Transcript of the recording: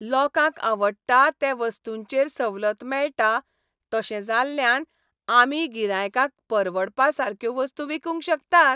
लोकांक आवडटा ते वस्तूंचेर सवलत मेळटा, तशें जाल्ल्यान आमी गिरायकांक परवडपा सारक्यो वस्तू विकूंक शकतात.